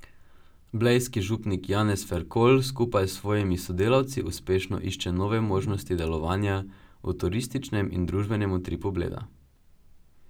Blejski župnik Janez Ferkolj skupaj s svojimi sodelavci uspešno išče nove možnosti delovanja v turističnem in družbenem utripu Bleda.